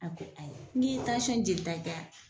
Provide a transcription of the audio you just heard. A ko ayi n k'i ye tansɔn jeli kɛ a